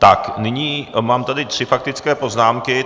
Tak nyní mám tady tři faktické poznámky.